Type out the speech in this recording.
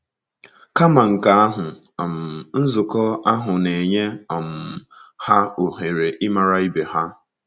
Kama nke ahụ, um nzukọ ahụ na - enye um ha ohere ịmara ibe ha.